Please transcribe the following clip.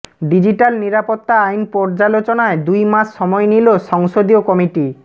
digital নিরাপত্তা আইন পর্যালোচনায় দুই মাস সময় নিলো সংসদীয় কমিটি